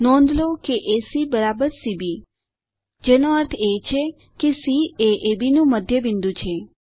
નોંધ લો કે એસી સીબી જેનો અર્થ છે સી એ અબ નું મધ્યબિંદુ છે